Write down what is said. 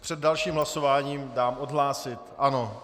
Před dalším hlasováním dám odhlásit, ano.